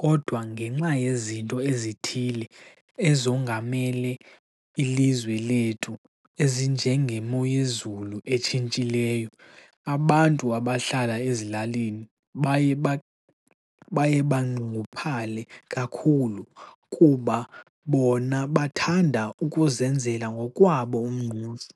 kodwa ngenxa yezinto ezithile ezongamele ilizwe lethu ezinjengemoyezulu etshintshileyo abantu abahlala ezilalini baye banxunguphale kakhulu kuba bona bathanda ukuzenzela ngokwabo umngqusho.